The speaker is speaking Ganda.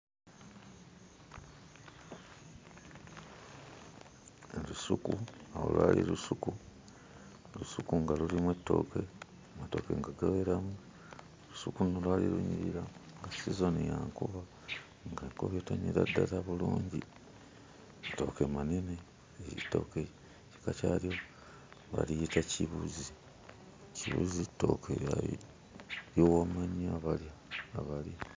Olusuku, olwo lwali lusuku. Olusuku nga lulimu ettooke, amatooke nga gaweramu, olusuku luno lwali lunyirira nga sizoni ya nkuba, ng'enkuba ettonyera ddala bulungi. Amatooke manene, ettooke ekika kyalyo baliyita kibuzi. Kibuzi ttooke lya liwooma nnyo abalya abali.